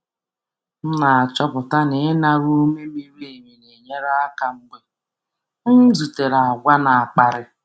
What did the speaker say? M na-achọpụta na ịnara ume miri emi na-enyere aka mgbe m zutere àgwà na-akparị.